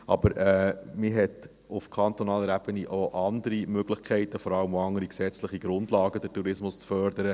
Aber man hat auf kantonaler Ebene auch andere Möglichkeiten und vor allem auch andere gesetzliche Grundlagen, um den Tourismus zu fördern.